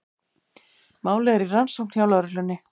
Málið er í rannsókn hjá lögreglunni